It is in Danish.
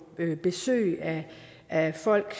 besøg af folk